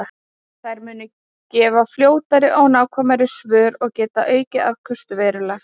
Þær munu gefa fljótari og nákvæmari svör og geta aukið afköstin verulega.